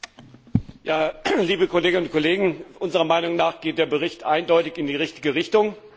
Herr Präsident, liebe Kolleginnen und Kollegen! Unserer Meinung nach geht der Bericht eindeutig in die richtige Richtung.